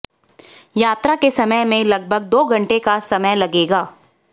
यात्रा के समय में लगभग दो घंटे का समय लगेगा